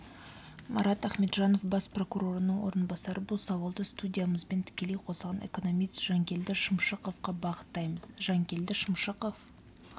марат ахметжанов бас прокурорының орынбасары бұл сауалды студиямызбен тікелей қосылған экономист жанкелді шымшықовқа бағыттаймыз жанкелді шымшықов